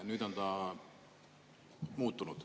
Nüüd on ta muutunud.